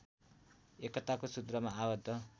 एकताको सुत्रमा आबद्ध